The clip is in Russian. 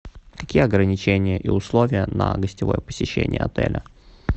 какие ограничения и условия на гостевое посещение отеля